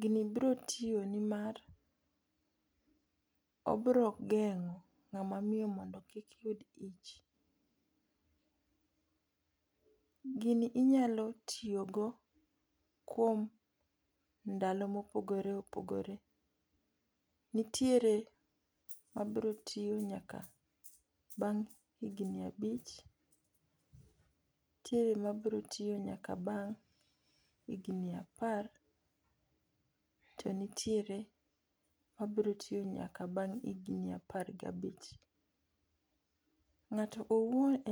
gino biro tiyo ne mar obiro gengo ng'ama miyo mondo kik yud iyich. Gini inyalo tiyo go kuom ndalao ma opogore opogore. Nitiere ma biro tiyo nyaka bang' higni abich, nitiere ma biro tiyo nyaka bang' higni apar to nitiere ma biro tiyo nyaka bang' higni apar ga abich. Ng'ato owuon en.